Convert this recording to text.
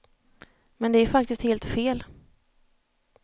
Men det är faktiskt helt fel.